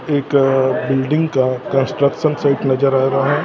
एक बिल्डिंग का construction site नजर आ रहा है।